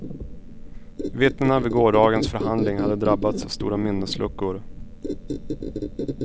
Vittnena vid gårdagens förhandling hade drabbats av stora minnesluckor.